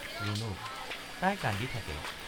ৰুণুক—তাই কান্দি থাকে।